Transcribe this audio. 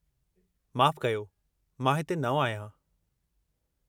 माफ़ु कजो, मां हिते नओं आहियां।